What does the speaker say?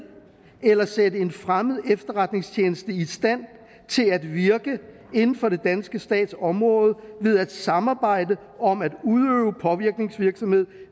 eller sætte en fremmed efterretningstjeneste i stand til at virke inden for den danske stats område ved at samarbejde om at udøve påvirkningsvirksomhed